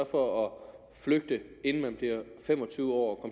for at flygte inden man bliver fem og tyve år